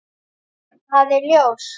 Það er ljóst.